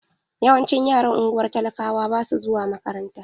Yawancin yaran ungwar talakawa basu zuwa makaranta.